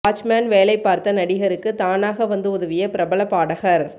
watchman வேலை பார்த்த நடிகருக்கு தானாக வந்து உதவிய பிரபல பாடகர்